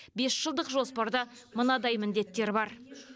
бес жылдық жоспарда мынадай міндеттер бар